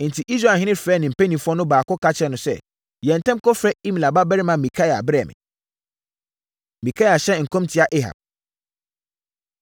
Enti, Israelhene frɛɛ ne mpanimfoɔ no baako ka kyerɛɛ no sɛ, “Yɛ ntɛm kɔfrɛ Imla babarima Mikaia brɛ me.” Mikaia Hyɛ Nkɔm Tia Ahab